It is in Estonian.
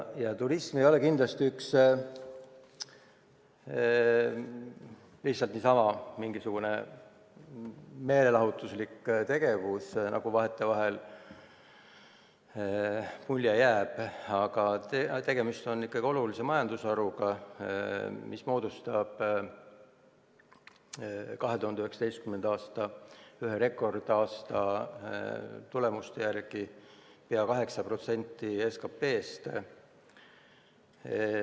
Ja turism ei ole kindlasti lihtsalt niisama mingisugune meelelahutuslik tegevus, nagu vahetevahel mulje jääb, vaid tegemist on ikkagi olulise majandusharuga, mis moodustab 2019. aasta – ühe rekordaasta – tulemuste järgi peaaegu 8% SKP-st.